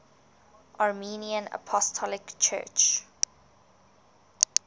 armenian apostolic church